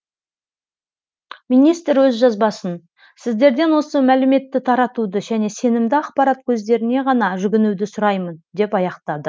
министр өз жазбасын сіздерден осы мәліметті таратуды және сенімді ақпарат көздеріне ғана жүгінуді сұраймын деп аяқтады